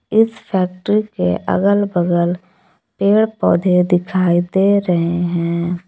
इस फैक्ट्री के अगल बगल पेड़ पौधे दिखाई दे रहे हैं।